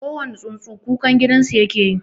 Kowane tsuntsu kukan gidansu yake yi.